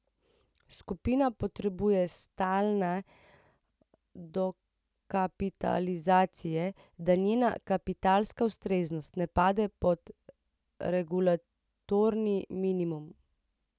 Skupina potrebuje stalne dokapitalizacije, da njena kapitalska ustreznost ne pade pod regulatorni minimum.